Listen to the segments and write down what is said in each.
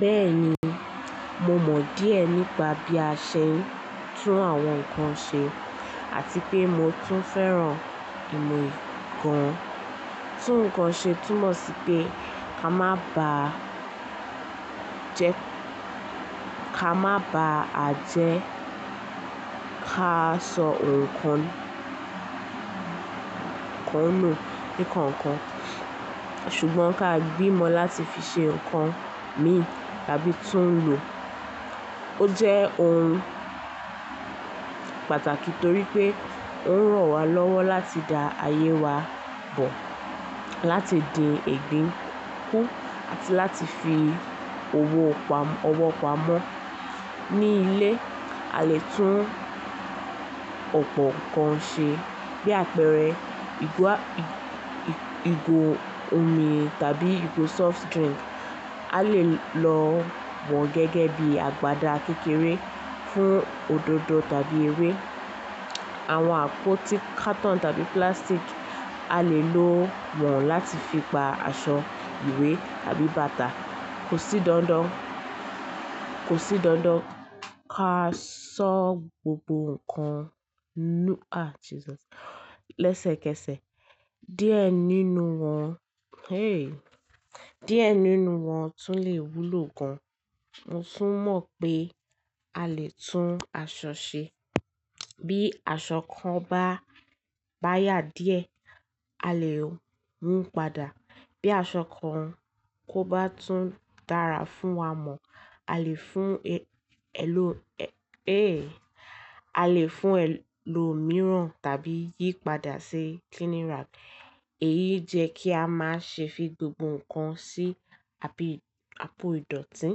Bẹ́ẹ̀ni, mo mọ̀ díẹ̀ nípa bí a ṣe ń tún àwọn nǹkan ṣe àti pé mo tún fẹ́ràn ìmọ̀ kan. Tún nǹkan ṣe túmọ̀ sí pé ká má bá a jẹ ká sọ òǹkà náà ní kánkán, ṣùgbọ́n ká gbìmọ̀ láti fi ṣe nǹkan mìí tàbí tún lò. Ó jẹ́ ohun pàtàkì torí pé ó ń ràn wá lọ́wọ́ láti dá ayé wa bọ̀, láti di ìgbín kún àti láti fi owó pamọ́ ní ilé. A lè tún ọ̀pọ̀ nǹkan ṣe bí àpẹẹrẹ igo omi tàbí igo soft drink. A lè lo wọ́n gẹ́gẹ́ bí àgbàda kékeré fún òdòdó tàbí ewé. Àwọn àpótí katọn tàbí púlásítìkì, a lè lo wọ́n láti fi pa aṣọ ìwé tàbí bàtà. Kò sí dandan ká sọ gbogbo nǹkan lẹ́sẹ̀kẹsẹ̀. Díẹ̀ nínú wọn tún lè wúlò gan. Mo tún mọ̀ pé a lè tún aṣọ ṣe. Bí aṣọ kan bá yà díẹ̀, a lè mú padà. Bí aṣọ kan kó bá tún dára fún wa mọ̀, a lè fún ẹlòmíràn tàbí yí padà sí cleaning rag. Èyí jẹ́ kí a má ṣe fi gbogbo nǹkan sí àpò ìdọ̀tí.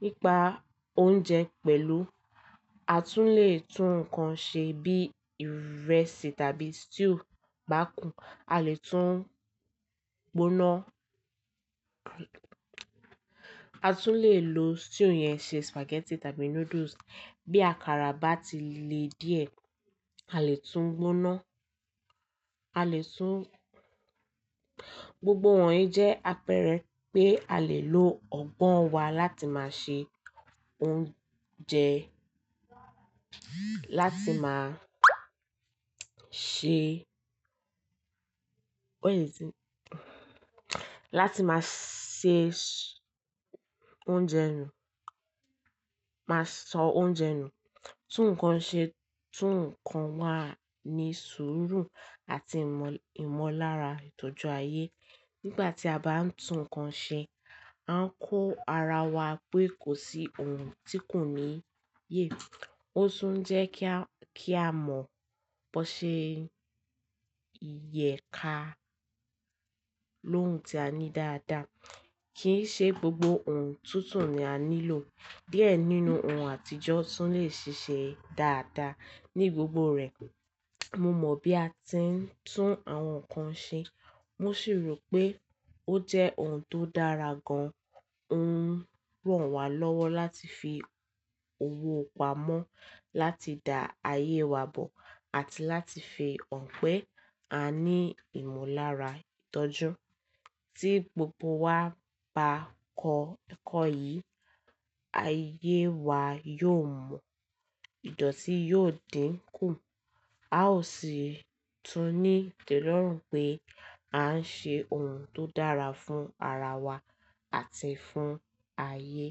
Nípa oúnjẹ pẹ̀lú, a tún lè tún nǹkan ṣe bí ìrẹsì tàbí stew bá kú. A lè tún gbóná. A tún lè lo stew yẹn ṣe spaghetti tàbí noodles. Bí àkàrà bá ti le díẹ̀, a lè tún gbóná. Gbogbo wọ̀nyí jẹ́ àpẹẹrẹ pé a lè lo ọgbọ́n wa láti máa ṣe oúnjẹ, láti máa sọ oúnjẹ nù. Tún nǹkan ṣe tún nǹkan wá ní sùúrù àti ìmọ̀lára ìtọ́jú ayé. Nígbà tí a bá ń tún nǹkan ṣe, a ń kó ara wa pé kò sí ohun tí kò níye. Ó tún ń jẹ́ kí a mọ̀ bó ṣe ìyẹ́ka lóhùn tí a ní dáadáa. Kì í ṣe gbogbo ohun tuntun ni a nílò. Díẹ̀ nínú ohun àtijọ́ tún lè ṣiṣẹ́ dáadáa ní gbogbo rẹ̀. Mo mọ̀ bí a ti ń tún àwọn nǹkan ṣe. Mo sì rò pé ó jẹ́ ohun tó dára gan. Ó ń ràn wá lọ́wọ́ láti fi owó pamọ́, láti dá ayé wa bọ̀ àti láti fi hàn pé a ní ìmọ̀lára ìtọ́jú. Tí gbogbo wa bá kọ ẹ̀kọ́ yìí, ayé wa yóò mú ìdọ̀tí yóò dín kù. A ó sì tún ní ìtẹ́lọ́rùn pé a ń ṣe ohun tó dára fún ara wa àti fún ayé.